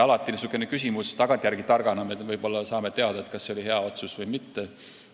Niisuguste küsimuste puhul me saame võib-olla tagantjärele targana teada, kas see oli hea otsus või mitte.